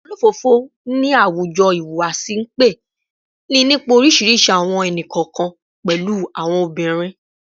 Olofofo ni a awujo ihuwasi npe ni nipa orisirisi awọn ẹni-kọọkan, pẹlu awọn obirin